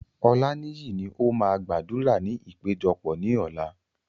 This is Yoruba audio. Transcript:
Olaniyi ni ó máa gbàdúrà ní ìpéjọpọ̀ ní ọ̀la.